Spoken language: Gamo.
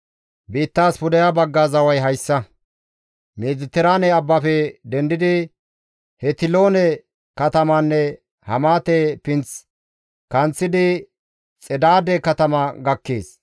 Biittaas pudeha bagga zaway hayssa: «Mediteraane abbafe dendidi Hetiloone katamanne Hamaate Pinth kanththidi Xedaade katama gakkees.